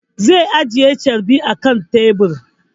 Zai ajiye carbi akan tebur